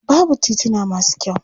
Babu tituna masu kyau.